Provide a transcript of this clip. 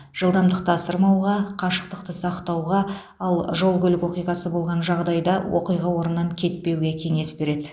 жылдамдықты асырмауға қашықтықты сақтауға ал жол көлік оқиғасы болған жағдайда оқиға орнынан кетпеуге кеңес береді